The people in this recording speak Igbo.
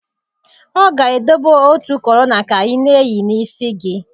Ọ ga-edobe otu korolla ka ị na-eyi n'isi gị